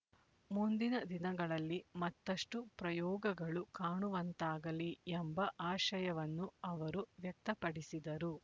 ಮುಂದಿನ ದಿನಗಳಲ್ಲಿ ಮತ್ತಷ್ಟು ಪ್ರಯೋಗಗಳು ಕಾಣುವಂತಾಗಲಿ ಎಂಬ ಆಶಯವನ್ನು ಅವರು ವ್ಯಕ್ತಪಡಿಸಿದರು